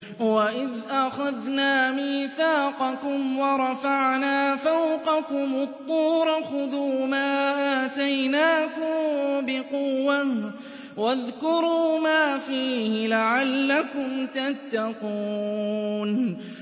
وَإِذْ أَخَذْنَا مِيثَاقَكُمْ وَرَفَعْنَا فَوْقَكُمُ الطُّورَ خُذُوا مَا آتَيْنَاكُم بِقُوَّةٍ وَاذْكُرُوا مَا فِيهِ لَعَلَّكُمْ تَتَّقُونَ